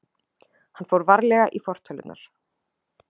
Hann fór varlega í fortölurnar.